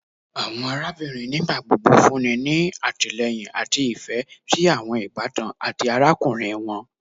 Awọn arabinrin nigbagbogbo funni ni atilẹyin ati ifẹ si awọn ibatan ati arakunrin wọn